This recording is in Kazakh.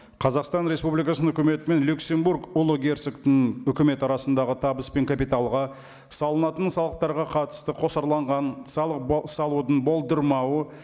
қазақстан республикасының өкіметі мен люксембург ұлы герцогтың өкіметі арасындағы табыс пен капиталға салынатын салықтарға қатысты қосарланған салық салудың болдырмауы